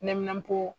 Neminanpo